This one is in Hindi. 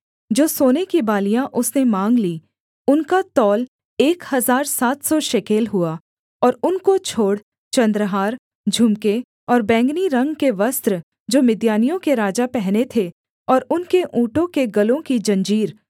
जो सोने की बालियाँ उसने माँग लीं उनका तौल एक हजार सात सौ शेकेल हुआ और उनको छोड़ चन्द्रहार झुमके और बैंगनी रंग के वस्त्र जो मिद्यानियों के राजा पहने थे और उनके ऊँटों के गलों की जंजीर